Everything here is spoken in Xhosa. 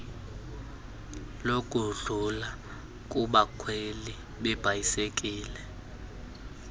lokudlula kubakhweli beebhayisekile